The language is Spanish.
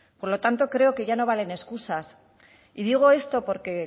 por lo tanto creo que ya no valen excusas y digo esto porque